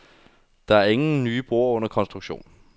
Der er ingen nye broer under konstruktion.